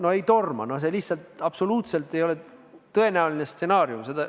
No ei torma, see lihtsalt absoluutselt ei ole tõenäoline stsenaarium.